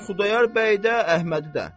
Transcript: Yəni Xudayar bəyi də, Əhmədi də.